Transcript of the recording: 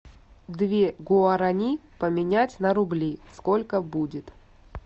две гуарани поменять на рубли сколько будет